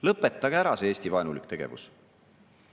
Lõpetage ära see Eesti-vaenulik tegevus!